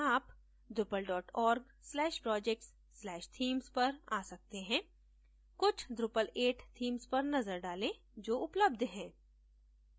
आप drupal org/projects/themes पर a सकते हैं कुछ drupal 8 themes पर नजर डालें जो उपलब्ध हैं